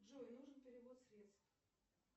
джой нужен перевод средств